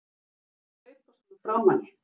AF HVERJU ERTU AÐ HLAUPA SVONA FRÁ MANNI!